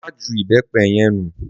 Máa ju ìbépé yen nu!